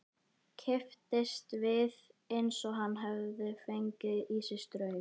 Kipptist við eins og hann hefði fengið í sig straum.